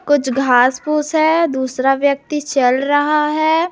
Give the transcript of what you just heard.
कुछ घास फूस है दूसरा व्यक्ति चल रहा है।